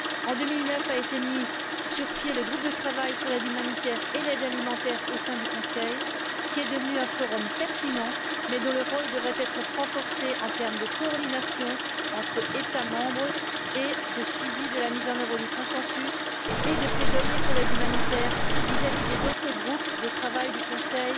En 2009 a été mis sur pied le groupe de travail sur l'aide humanitaire et l'aide alimentaire au sein du Conseil, qui est devenu un forum pertinent, mais dont le rôle devrait être renforcé en termes de coordination entre États membres et de suivi de la mise en œuvre du consensus et de plaidoyer pour l'aide humanitaire vis à vis des autres groupes de travail du Conseil